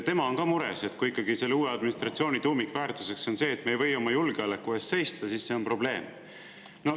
Tema on ka mures, et kui ikkagi selle uue administratsiooni tuumikväärtuseks on see, et me ei või oma julgeoleku eest seista, siis see on probleem.